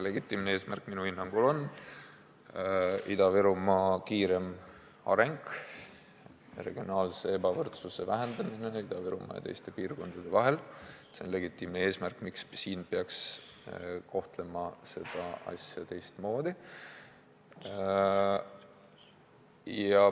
See on minu hinnangul Ida-Virumaa kiirem areng, regionaalse ebavõrdsuse vähendamine Ida-Virumaa ja teiste piirkondade vahel, see on legitiimne eesmärk, miks peaks kohtlema seda asja teistmoodi.